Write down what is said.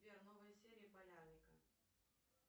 сбер новые серии полярника